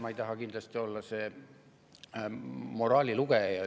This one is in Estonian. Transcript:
Ma ei taha kindlasti olla moraalilugeja.